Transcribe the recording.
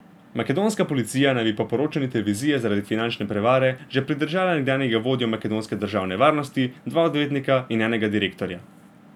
Makedonska policija naj bi po poročanju televizije zaradi finančne prevare že pridržala nekdanjega vodjo makedonske države varnosti, dva odvetnika in enega direktorja.